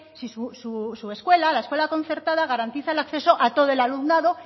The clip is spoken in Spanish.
si su escuela la escuela concertada garantiza el acceso a todo el alumnado